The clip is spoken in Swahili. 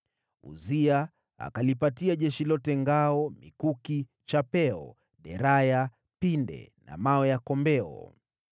Uzia akalipatia jeshi lote ngao, mikuki, chapeo, dirii, pinde na mawe ya kombeo.